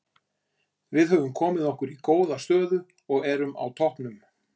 Við höfum komið okkur í góða stöðu og erum á toppnum.